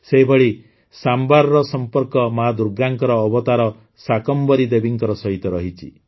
ସେହିଭଳି ସାମ୍ଭାରର ସମ୍ପର୍କ ମାଆ ଦୁର୍ଗାଙ୍କ ଅବତାର ଶାକମ୍ଭରୀ ଦେବୀଙ୍କ ସହିତ ରହିଛି